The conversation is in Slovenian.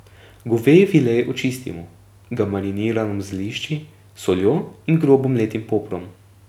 Goveji file očistimo, ga mariniramo z zelišči, soljo in grobo mletim poprom.